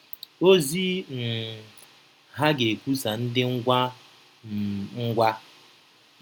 Ozi um ha ga-ekwusa dị ngwa um ngwa.